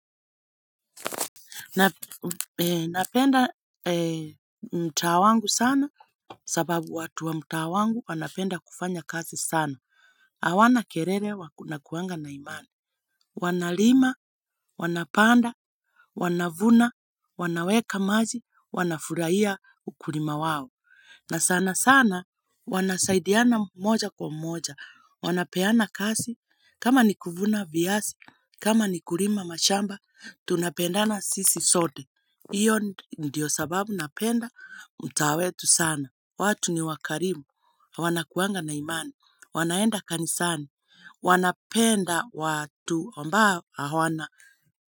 Na napenda mtaa wangu sana sababu watu wa mtaa wangu wanapenda kufanya kazi sana. Hawana kerere wakuanga na imani. Wanalima, wanapanda, wanavuna, wanaweka maji, wanafuraia ukulima wawo. Na sana sana wanasaidiana moja kwa moja. Wanapeana kazi kama ni kuvuna viasi, kama ni kulima mashamba, tunapendana sisi sote. Iyo ndiyo sababu napenda mutaa wetu sana. Watu ni wakarimu. Wanakuanga na imani. Wanaenda kanisani. Wanapenda watu ambao hawana.